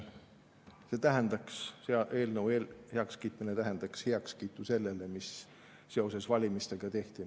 Selle eelnõu heakskiitmine tähendaks heakskiitu sellele, mis seoses valimistega tehti.